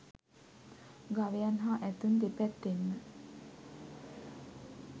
ගවයන් හා ඇතුන් දෙපැත්තෙන්ම